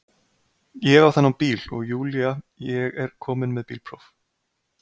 Ég á þennan bíl og Júlía ég er komin með bílpróf